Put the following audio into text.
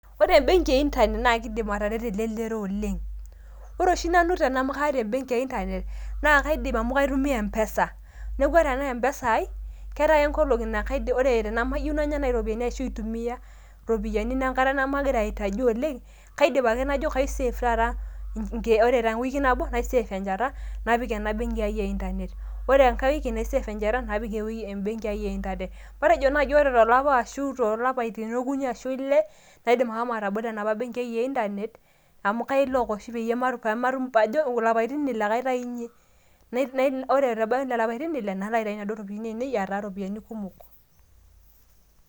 Ore benki e internet naa keidim atareto elelero oleng. Ore oshi nanu tene amu kaata e benki e internet naa kaidim amu kaitumia m-pesa. Ore ena m-pesa ai kaata ake nkolong`i naa kaidim, ore tenemayieu nanya irropiyiani ashu aitumia irropiyiani enkata nemagira aitaji oleng, Kaidim ake najo kai save ake taata, ore te wiki nabo nai save enchata napik ena benki e internet. Ore enkae wiki nai save enchata napik embenki ai e internet. Matejo naaji ore to lapa arashu too lapaitin okuni ashu ile naidim ashomo atabolo enapa benki ai e internet amu kai lock oshi paajo ilapaitin ile ake aitaunyie, nai ore pee ebaiki lelo apaitin ile nalo aitayu nena ropiyiani etaa ropiyiani kumok.